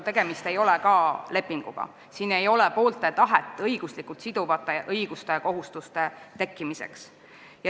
Tegemist ei ole lepinguga: siin ei ole poolte tahet, et tekiks õiguslikult siduvad õigused ja kohustused.